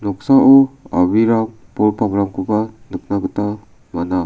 a·brirang bol pangrangkoba nikna gita man·a.